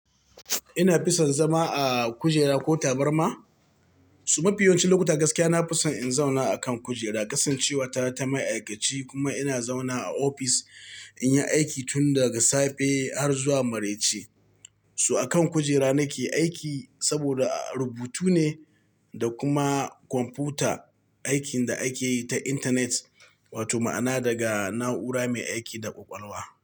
Ina fison zama a kujera ko tabarma, so mafiyawancin lokuta gaskiya na fison in zauna a kan kujera. Kasancewata ta ma'aikaci kuma ina zauna a ofis in yi aiki tun daga safe har zuwa maraice. Su a kan kujera nake aiki saboda rubutu ne da kuma kwamfuta, aikin da ake yi ta intanet wato ma'ana daga na'ura mai aiki da ƙwaƙwalwa.